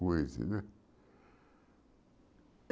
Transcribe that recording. com esse, né?